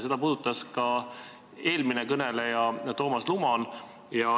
Seda puudutas ka eelmine kõneleja Toomas Luman.